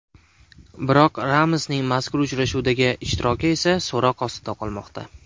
Biroq Ramosning mazkur uchrashuvdagi ishtiroki esa so‘roq ostida qolmoqda.